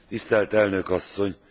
Tisztelt elnök asszony!